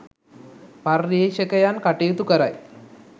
පර්යේෂකයන් කටයුතු කරයි